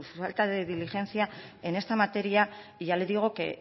falta de diligencia en esta materia ya le digo que